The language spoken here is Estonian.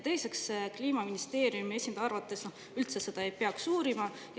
Teiseks, Kliimaministeeriumi esindaja arvates ei peaks seda üldse uurima.